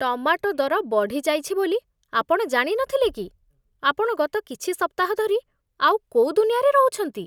Tomato ଦର ବଢ଼ିଯାଇଛି ବୋଲି ଆପଣ ଜାଣିନଥିଲେ କି? ଆପଣ ଗତ କିଛି ସପ୍ତାହ ଧରି ଆଉ କୋଉ ଦୁନିଆରେ ରହୁଛନ୍ତି ?